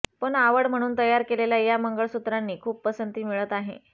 पण आवड म्हणून तयार केलेल्या या मंगळसूत्रांनी खूप पसंती मिळत आहे